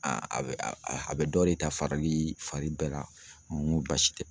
a bɛ a bɛ dɔ de ta farili fari bɛɛ la, muɲun basi tɛ